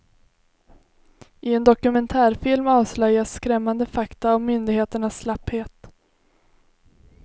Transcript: I en dokumentärfilm avslöjas skrämmande fakta om myndigheternas slapphet.